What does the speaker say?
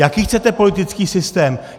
Jaký chcete politický systém?